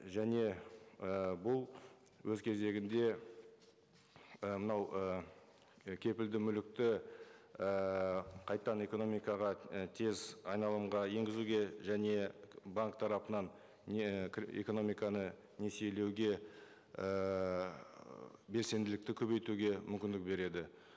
және і бұл өз кезегінде і мынау ы кепілді мүлікті ііі қайтадан экономикаға тез айналымға енгізуге және банк тарапынан не экономиканы несиелеуге ыыы белсенділікті көбейтуге мүмкіндік береді